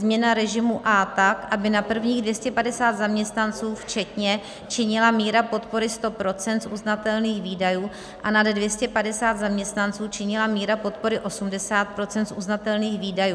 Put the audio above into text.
Změna režimu A tak, aby na prvních 250 zaměstnanců včetně činila míra podpory 100 % z uznatelných výdajů a nad 250 zaměstnanců činila míra podpory 80 % z uznatelných výdajů.